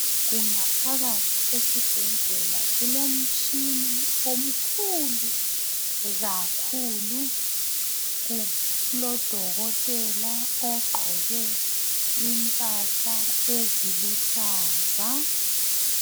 Kungaphakathi esibhedlela kulomtshina omkhulu kakhulu. Kulodokotela ogqoke impahla eziluhlaza.